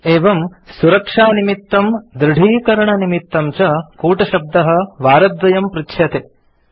एवं सुरक्षानिमित्तं दृढीकरणनिमित्तं च कूटशब्दः वारद्वयं पृच्छ्यते